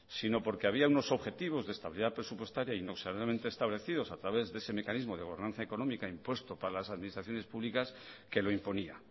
sino porque había unos objetivos de estabilidad presupuestaria inexorablemente establecidos a través de ese mecanismo de bonanza económica impuesto para las administraciones públicas que lo imponía